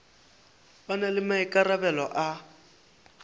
ba na le maikarabelo a